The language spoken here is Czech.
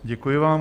Děkuji vám.